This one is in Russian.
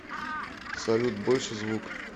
салют больше звук